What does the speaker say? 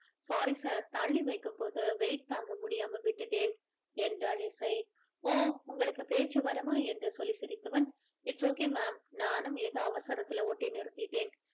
sorry sir தள்ளி வைக்கும் போது weight டு தாங்க முடியாம விட்டுட்டேன் என்றால் இசை ஓ உங்களுக்கு பேச்சு வருமா என்று சொல்லி சிரித்தவன் it's okay ma'am நானும் ஏதோ அவசரத்துல ஒட்டி நிறுத்திட்டேன்